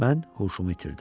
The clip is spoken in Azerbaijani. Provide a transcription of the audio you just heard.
Mən huşumu itirdim.